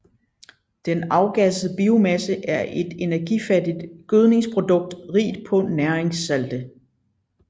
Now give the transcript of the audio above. Den afgassede biomasse er et energifattigt gødningsprodukt rigt på næringssalte